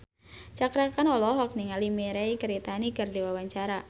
Cakra Khan olohok ningali Mirei Kiritani keur diwawancara